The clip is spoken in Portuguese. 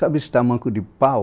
Sabe esse tamanco de pau?